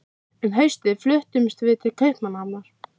Um haustið fluttumst við til Kaupmannahafnar.